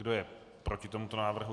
Kdo je proti tomuto návrhu?